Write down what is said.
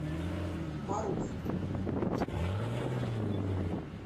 марув